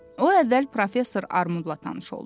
O əvvəl Professor Armudla tanış oldu.